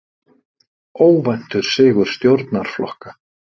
Óvæntur sigur stjórnarflokka